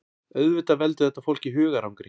Auðvitað veldur þetta fólki hugarangri